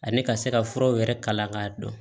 Ani ka se ka furaw yɛrɛ kalan k'a dɔn